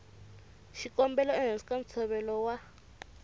xikombelo ehansi ka ntshovelo wa